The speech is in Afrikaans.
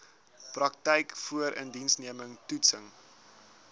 praktyk voorindiensneming toetsing